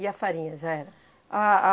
E a farinha já era?